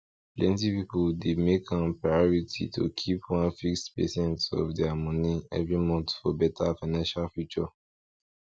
plenty people dey make am priority to keep one fixed percent of their money every month for better financial future